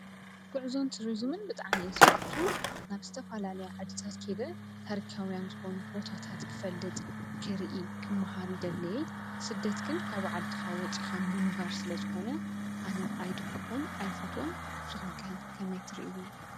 ጉዕዞን ቱሪዝምን ብጣዕሚ እየ ዝፈቱ፡፡ ናብ ዝተፈላለየ ዓዲታት ከይደ ታሪካውያንን ዝኮኑ ቦታታት ክፈልጥ ፣ክሪኢ፣ ክማሃር ይደሊ፡፡ ስደት ግን ካብ ዓድካ ወፂእካ ምንባር ስለ ዝኮነ ኣነ ኣይድግፎን ኣይፎትዎን ንስኩም ከ ከመይ ትርእዎ?